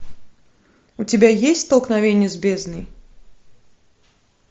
у тебя есть столкновение с бездной